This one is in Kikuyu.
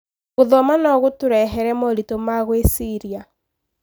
Gũthoma no gũtũrehere moritũ ma gwĩciria.